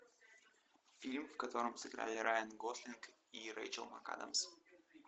фильм в котором сыграли райан гослинг и рэйчел макадамс